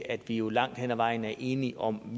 at vi jo langt hen ad vejen er enige om